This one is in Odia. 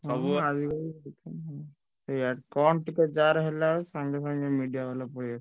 ସେଇଆ କଣ ଟିକେ ଯାହାର ହେଲା ସାଙ୍ଗେ ସାଙ୍ଗେ media ବାଲା ପଳେଈ ଆସୁଛନ୍ତି।